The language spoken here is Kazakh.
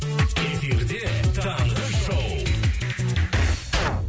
эфирде таңғы шоу